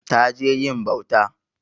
Ta je yin bauta.